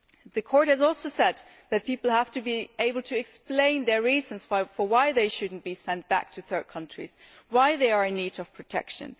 The Court has also said that people have to be able to explain their reasons why they should not be sent back to third countries and why they are in need of protection.